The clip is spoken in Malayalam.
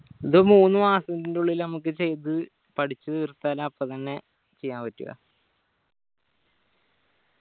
ഇത് മൂന്ന് മാസത്തിന്റ ഉള്ളില് ഞമ്മക്ക് ചെയ്ത പഠിച്ച് തീർത്താൽ അപ്പൊ തന്നെ ചെയ്യാൻ പറ്റു